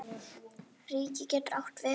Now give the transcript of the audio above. Ríki getur átt við